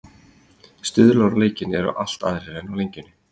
Stuðlarnir á leikinn eru allt aðrir en á Lengjunni.